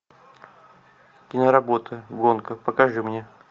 киноработа гонка покажи мне